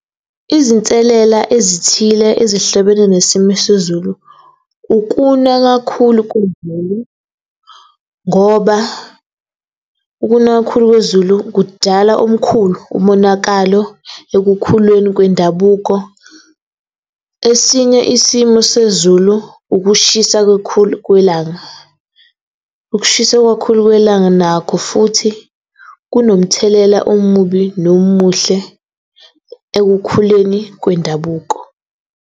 Izinselela ezithile ezihlobene nesimo sezulu ukuna kakhulu ngoba ukuna kakhulu kwezulu kudala omkhulu umonakalo ekukhuleni kwendabuko. Esinye isimo sezulu, ukushisa kakhulu kwelanga. Ukushisa kakhulu kwelanga nakho futhi kunomthelela omubi nomuhle ekukhuleni wendabuko.